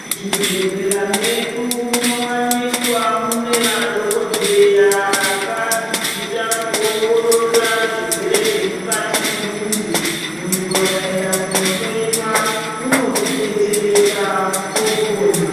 Zvibhedhlera medu munowanikwa mune madhokodheya akadzidzira kuongorora zvirwere zvemukati memuntu. Muntu akaenda kundohlowiwa unodetsereka opona.